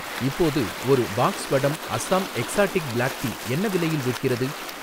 இப்போது ஒரு பாக்ஸ் வடம் அசாம் எக்ஸாட்டிக் பிளாக் டீ என்ன விலையில் விற்கிறது?